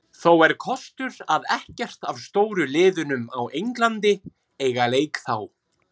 Þó er kostur að ekkert af stóru liðunum á Englandi eiga leik þá.